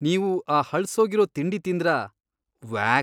ನೀವು ಆ ಹಳ್ಸೋಗಿರೋ ತಿಂಡಿ ತಿಂದ್ರಾ?! ವ್ಯಾಕ್!